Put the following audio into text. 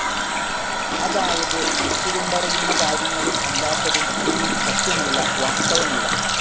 അതായത്, മനസുകൊണ്ടറിയുന്ന കാര്യങ്ങളും അല്ലാത്തതും ഒന്നും സത്യമല്ല, വാസ്തവമല്ല.